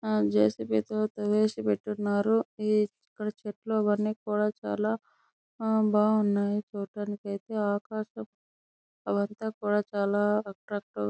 ఆ J. C. B. తో తవ్వేసి పెట్టినారు ఇక్కడ చెట్లు అవన్నీ కూడా చాలా ఆహ్ బాగున్నాయ్ చూడడానికి అయితే ఆకాశం అవంతా కూడా చాలా రకరక్ --